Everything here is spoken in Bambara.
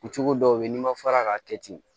Cogo dɔw be yen n'i ma fara k'a kɛ ten